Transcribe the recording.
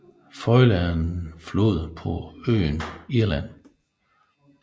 Foyle er en flod på øen Irland